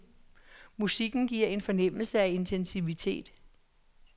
Musikken giver en fornemmelse af intensitet.